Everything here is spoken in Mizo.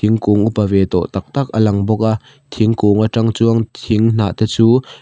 thingkung upa ve tawh tak tak a lang bawk a thingkung aṭang chuan thing hnah te chu --